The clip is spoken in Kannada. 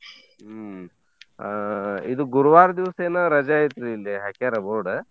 ಹ್ಮ್‌ ಆಹ್ ಇದು ಗುರುವಾರ್ದೀವ್ಸ್ ಎನ ರಜೆ ಐತ್ರೀ ಇಲ್ಲೆ ಹಾಕ್ಯಾರ board .